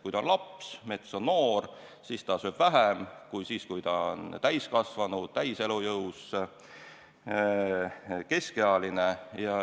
Kui ta on laps – mets on noor –, siis ta sööb vähem kui siis, kui ta on täiskasvanu, täies elujõus, keskealine.